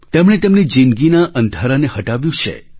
તેમણે તેમની જિંદગીના અંધારાને હટાવ્યું છે